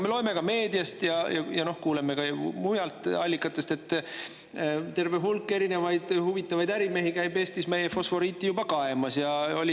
Me loeme ka meediast ja kuuleme mujalt allikatest, et terve hulk huvitavaid ärimehi käib Eestis meie fosforiiti juba kaemas.